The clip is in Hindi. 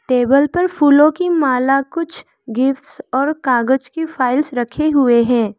टेबल पर फूलों की माला कुछ गिफ्ट्स और कागज की फाइल्स रखे हुए हैं।